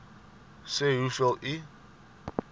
sê hoeveel u